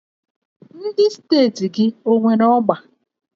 Ndị steeti gị o nwere ọgba?